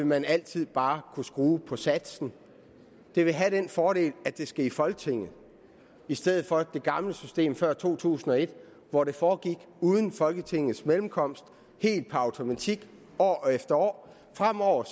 man altid bare kunne skrue på satsen det vil have den fordel at det skal i folketinget i stedet for det gamle system fra før to tusind og et hvor det foregik uden folketingets mellemkomst helt per automatik år efter år fremover